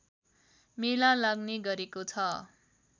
मेला लाग्ने गरेको छ